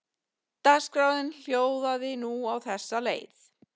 Dagskráin hljóðaði nú á þessa leið